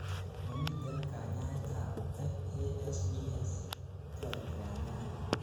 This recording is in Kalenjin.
momiten kanyaetab FASDs. toreti kanyaet